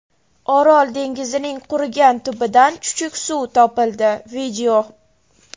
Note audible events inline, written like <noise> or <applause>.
Orol dengizining qurigan tubidan chuchuk suv topildi. <video>